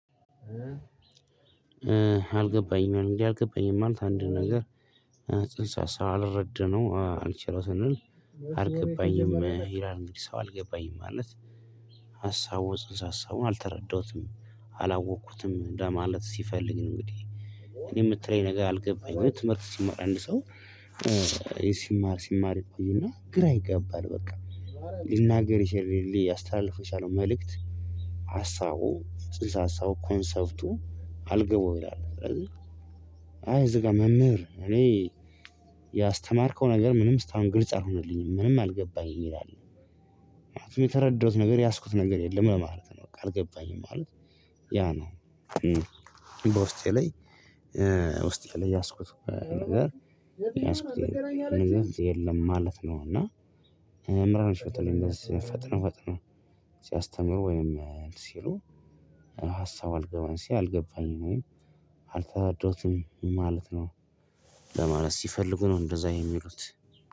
አልገባኝም እንግዲህ አልገባኝም ማለት አንድ ነገር ጽንሰ ሳልረድነው አልችለው ስንል አልገባኝም ሂራል እንግዲህ ሰው አልገባኝም ማለት ሀሳቦችን ሀሳቡን አልተረዳሁትም አላወኩትም ለማለት ሲፈልግ እንግዲህ እኔ የምትለኝ ነገር አልገባኝም ትምህርት ሲማር አንድ ሰው ሲማር ሲማር ይቆይና ግራ ይገባል በቃ ሊናገር ይሄድልኝ ያስተላልፍ የቻለው መልእክት ሀሳቡ ጽንሰ ሀሳቡ ኮንሰፕቱ አልገባው ይላል ስለዚህ አይ እዚህ ጋር መምህር እኔ ያስተማርከው ነገር ምንም እስካሁን ግልጽ አልሆነልኝም ምንም አልገባኝም ይላል። ማለት ነው የተረዳሁት ነገር የያዝኩት ነገር የለም ለማለት ነው በቃ አልገባኝም ማለት ያ ነው። በውስጤ ላይ ውስጤ ላይ ያዝኩት ነገር ያዝኩት የለም ማለት ነው። እና መምህራኖች በተለይ እንደዚህ ፈጥኖ ፈጥኖ ሲያስተምሩ ወይም ሲሉ ሀሳብ አልገባኝም አልገባኝም አልተረዳሁትም ማለት ነው። ለማለት ሲፈልጉ ነው እንደዛ የሚሉት።